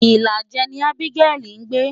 Ìlàjẹ ni Abigail ń gbé.